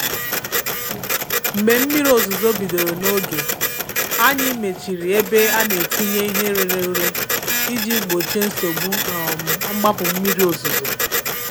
Mgbé mmírí òzúzó bídóró n’ógé, ànyị́ méchírí ébé à nà-étínyé íhé réré úré íjí gbóchíé nsógbú um mgbápú mmírí òzúzó.